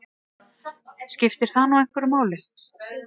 Skiptir það nú einhverju máli?